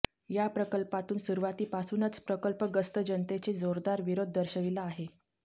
या प्रकल्पाला सुरुवातीपासूनच प्रकल्पग्रस्त जनतेने जोरदार विरोध दर्शविला आहे